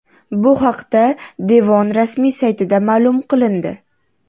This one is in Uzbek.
Bu haqda devon rasmiy saytida ma’lum qilindi .